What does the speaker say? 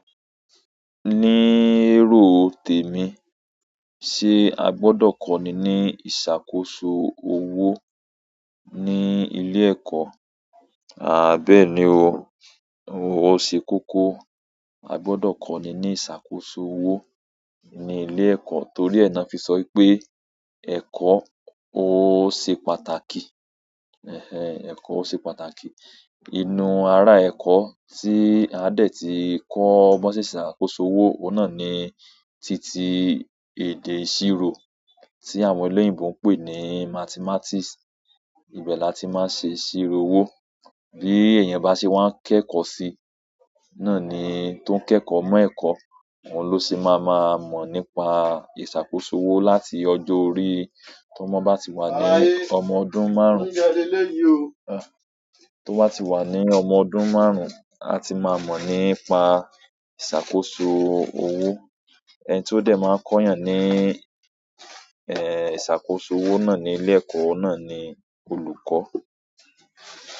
Ní èrò tèmi, ṣe a gbọdọ̀ kọ́ni ní ìṣàkóso owó ní ilé ẹ̀kọ́? Àhh bẹ́ẹ̀ni o. O ṣe kókó a gbọdọ̀ kọ́ni ní ìṣàkóso owó ní ilé ẹ̀kọ́ torí ẹ nà fi sọ wipé ẹ̀kọ́ ó ṣe pàtàkì. Ehn. Ehn, eko o se pàtàkì inú ara ẹ̀kọ́ tí aa dẹ̀ ti kọ́ bọ́n se n se ìṣàkóso owó oun náà ni ti ti èdè ìṣirò tí àwọn olóyìnbo ń pè ní mathematics. Ibẹ̀ là tí máa ń ṣe ìṣirò owó. Bí èèyàn bá ṣe wá ń kẹ́kọ̀ọ́ sí, náà ni tó ń kẹ́kọ̀ọ́ mọ̀ ẹ̀kọ́, òun ló ṣe máa máa mọ̀ nípa ìṣàkóso owó láti ọjọ́ orí tómọ bá ti wà ní ọmọ ọdún márùn-ún. Tó bá ti wà ní ọmọ ọdún márùn-ún, a ti máa mọ̀ nípa ìṣàkóso owó. Ẹni tí ó dẹ̀ máa ń kọ́yàn ní, eh, ìṣàkóso owó náà ní ilé ẹ̀kọ́ oun náà ni olùkọ́.